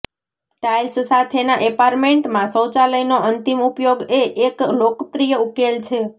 tiles સાથેના એપાર્ટમેન્ટમાં શૌચાલયનો અંતિમ ઉપયોગ એ એક લોકપ્રિય ઉકેલ છે